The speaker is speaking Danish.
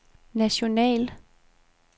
national